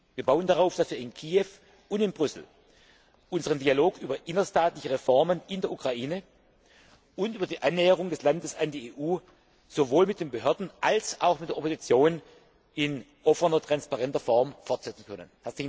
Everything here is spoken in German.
Wir bauen darauf, dass wir in Kiew und in Brüssel unseren Dialog über innerstaatliche Reformen in der Ukraine und über die Annäherung des Landes an die EU sowohl mit den Behörden als auch mit der Opposition in offener und transparenter Form fortsetzen können.